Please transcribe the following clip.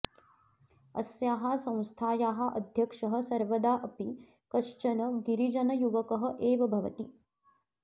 अस्याः संस्थायाः अध्यक्षः सर्वदा अपि कश्चन गिरिजनयुवकः एव भवति